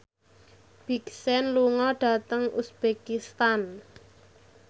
Big Sean lunga dhateng uzbekistan